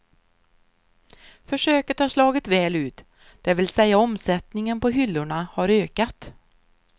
Försöket har slagit väl ut, det vill säga omsättningen på hyllorna har ökat.